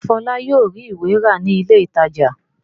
Ṣé Fọlá yóò rí ìwé rà ní ilé-ìtajà?